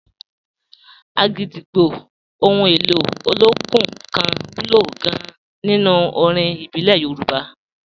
Agidigbo, ohun èlò olókùn kan wúlò gan-an nínú orin ìbílẹ̀ Yorùbá.